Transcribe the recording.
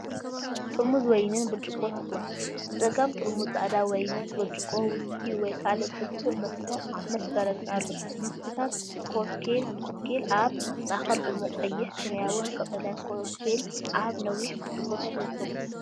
ጥርሙዝ ወይንን ብርጭቆታትን፦ ብጸጋም ጥርሙዝ ጻዕዳ ወይንን ብርጭቆ ዊስኪ ወይ ካልእ ብርቱዕ መስተ ምስ በረድን ኣሎ። መስተታት ኮክቴል፦ ኣብ ማእከል ድሙቕ ቀይሕ፡ ሰማያውን ቀጠልያን ኮክቴል ኣብ ነዋሕቲ ብርጭቆታት ይርከቡ።